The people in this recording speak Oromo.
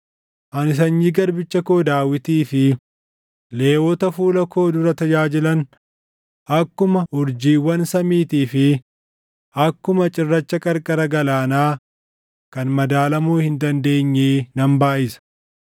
Ani sanyii garbicha koo Daawitii fi Lewwota fuula koo dura tajaajilan akkuma urjiiwwan samiitii fi akkuma cirracha qarqara galaanaa kan madaalamuu hin dandeenyee nan baayʼisa.’ ”